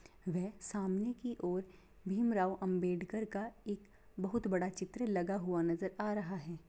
वह सामने की और भीम राव अम्बेडकर का एक बहुत बड़ा चित्र लगा हुआ नजर आ रहा है।